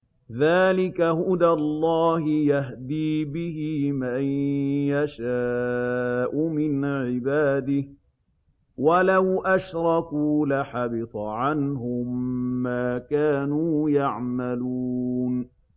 ذَٰلِكَ هُدَى اللَّهِ يَهْدِي بِهِ مَن يَشَاءُ مِنْ عِبَادِهِ ۚ وَلَوْ أَشْرَكُوا لَحَبِطَ عَنْهُم مَّا كَانُوا يَعْمَلُونَ